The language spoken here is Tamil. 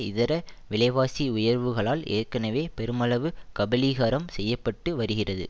இதர விலைவாசி உயர்வுகளால் ஏற்கனவே பெருமளவு கபளீகரம் செய்ய பட்டு வருகிறது